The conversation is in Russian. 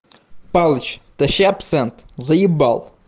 палыч тащи абсент заебал